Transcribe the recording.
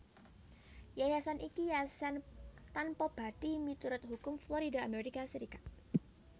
Yayasan iki yayasan tanpabathi miturut hukum Florida Amerika Serikat